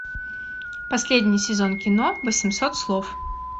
последний сезон кино восемьсот слов